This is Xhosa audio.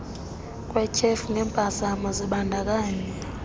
kwetyhefu ngempazamo zibandakanya